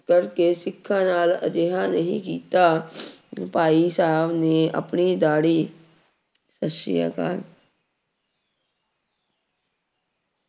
ਕਰਕੇ ਸਿੱਖਾਂ ਨਾਲ ਅਜਿਹਾ ਨਹੀਂ ਕੀਤਾ ਭਾਈ ਸਾਹਿਬ ਨੇ ਆਪਣੀ ਦਾੜੀ ਸਤਿ ਸ੍ਰੀ ਅਕਾਲ।